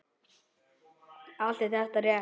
Allt er þetta rétt.